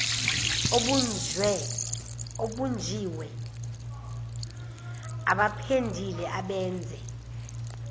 obunjiwe abapendile abenze